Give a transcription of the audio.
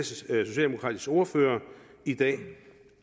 socialdemokratiske ordfører i dag